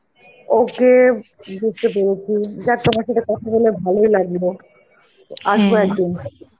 okay বুঝতে পেরেছি, যাক তোমার সাথে কথা বলে ভালোই লাগলো, আসবো একদিন.